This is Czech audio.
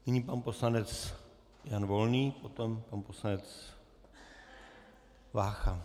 Nyní pan poslanec Jan Volný, potom pan poslanec Vácha.